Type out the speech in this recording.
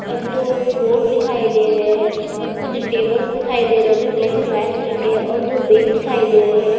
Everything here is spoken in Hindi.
और दो बोट दिखाई दे रहे है और कुछ टेबल्स दिखाई दे रहे है जो ब्लैक एंड व्हाइट कलर के है और दो बैग दिखाई दे रहे है।